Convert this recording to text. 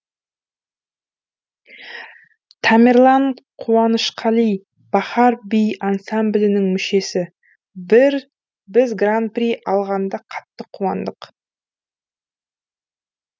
тамерлан қуанышқали бахар би ансамблінің мүшесі біз гран при алғанда қатты қуандық